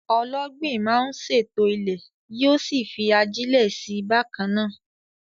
Ọlọ́gbìn máa ń ṣètò ilẹ̀, yóò sì fi ajílẹ̀ sí i bákan náà.